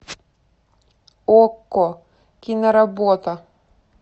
окко киноработа